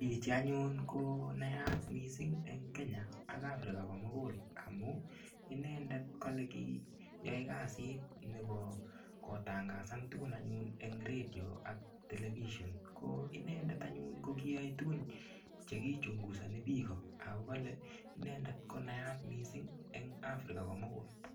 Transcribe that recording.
Chichii anyun konayat mising en Kenya ak Africa komukul amun inendet kolee kiyoe kasit nebo kitangasan tukun anyun en redio ak television, ko inendet anyun ko kiyoe tukun chekichungusoni biik ko ak kole inendet konayat mising eng' Africa komukul.